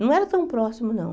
Não era tão próximo, não.